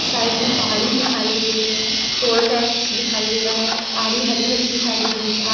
side में पहाड़ी दिखाई दे रही है टोल टैक्स दिखाई दे रहा है पहाड़ी हरी-भरी दिखाई दे रही है आ --